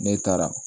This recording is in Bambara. Ne taara